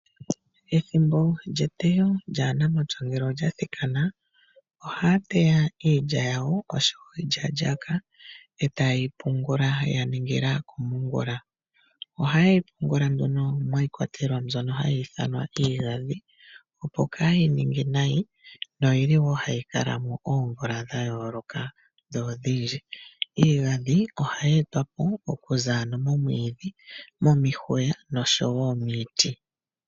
Ethimbo lyetewo lyaanamapya ngele olya thikana ohaya teya iilya yawo oshowo iilyalyaaka etayeyi pungula yaningila komongula. Ohayeyi pungula nduno miikwatelwa mbyono hayi ithanwa iigandhi opo kaayi ninge nayi noyili wo hayi kala mo oomvula dha yooloka odhindji. Iigandhi ohayi etwapo okuza ano momwiidhi, momihwiya oshowo miiti.